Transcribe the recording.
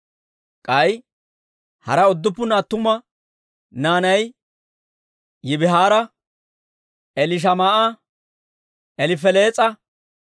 K'ay hara udduppun attuma naanay Yibihaara, Elishamaa'a, Elifelees'a,